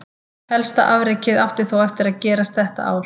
Helsta afrekið átti þó eftir gerast þetta ár.